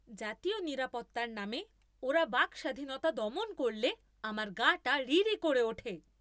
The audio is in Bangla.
জাতীয় নিরাপত্তার নামে ওরা বাকস্বাধীনতা দমন করলে আমার গা টা রিরি করে ওঠে।